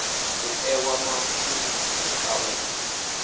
u ewa mafulufulu a u